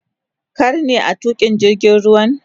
Kar ne a tuka jirgin ruwan?